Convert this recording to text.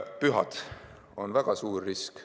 Pühad on väga suur risk.